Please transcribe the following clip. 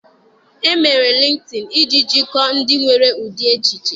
E mere Lịnktịn iji jikọọ ndị nwere ụdị echiche.